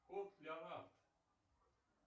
кот леонард